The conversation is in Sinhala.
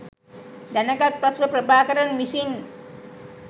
දැනගත් පසුව ප්‍රභාකරන් විසින්